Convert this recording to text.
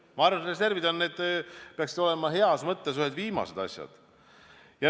Ma arvan, reservid peaksid olema heas mõttes ühed viimased asjad.